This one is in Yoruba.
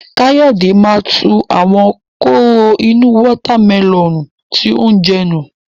Káyọ̀dé máa tu àwọn kóró inú wọ́tá mẹlọ̀nù tí ó ń jẹ nù.